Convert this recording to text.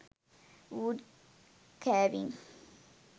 wood carving